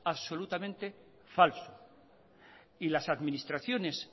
absolutamente falso y las administraciones